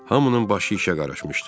Hamının başı işə qarışmışdı.